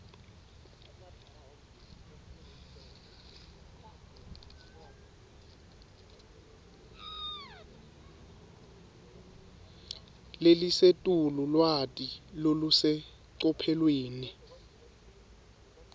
lelisetulu lwati lolusecophelweni